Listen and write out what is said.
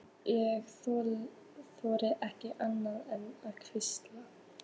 Ég þorði ekki annað en að hlýða.